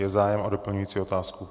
Je zájem o doplňující otázku?